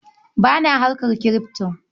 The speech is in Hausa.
Ba na harkar kirifto.